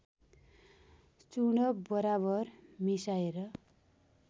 चूर्ण बराबर मिसाएर